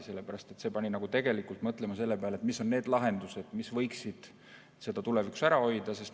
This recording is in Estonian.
See pani mõtlema selle peale, mis on need lahendused, mis võiksid seda tulevikus ära hoida.